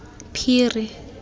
phiri